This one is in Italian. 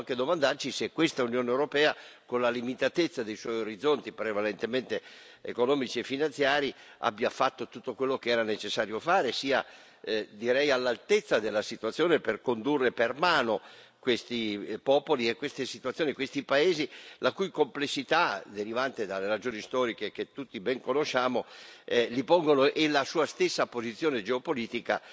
E possiamo anche domandarci se questa Unione europea, con la limitatezza dei suoi orizzonti prevalentemente economici e finanziari, abbia fatto tutto quello che era necessario fare, sia direi all'altezza della situazione per condurre per mano questi popoli e queste situazioni, questi paesi la cui complessità derivante dalle ragioni storiche che tutti ben conosciamo, gli pongono, e la sua stessa posizione geopolitica